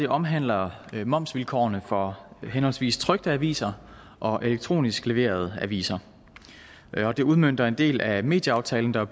omhandler momsvilkårene for henholdsvis trykte aviser og elektronisk leverede aviser og det udmønter en del af medieaftalen der